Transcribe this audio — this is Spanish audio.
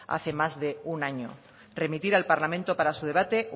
hace más de un año remitir al parlamento para su debate